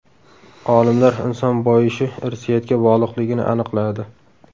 Olimlar inson boyishi irsiyatga bog‘liqligini aniqladi.